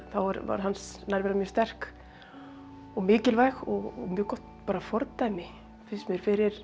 þá var hans nærvera mjög sterk og mikilvæg og mjög gott fordæmi finnst mér fyrir